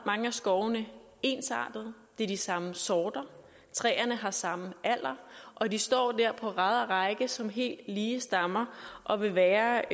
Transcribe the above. mange af skovene ensartede det er de samme sorter træerne har samme alder og de står der på rad og række som helt lige stammer og vil være